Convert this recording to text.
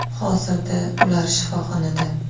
Hozirda ular shifoxonada.